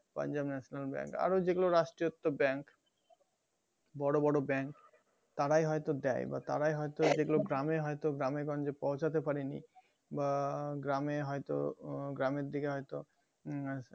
panjab national bank আরো যেগুলো রাষ্ট্রীয়তো bank বড়ো বড়ো bank তারাই হয়তো দেয় বা তারাই হয়তো যেগুলো গ্রামে হয়তো গ্রামে গঞ্জে পৌঁছাতে পারে নি বা গ্রামে হয় তো ও গ্রামের দিকে হয়তো উম